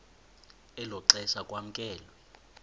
elo xesha kwamkelwe